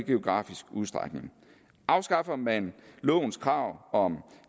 geografisk udstrækning afskaffer man lovens krav om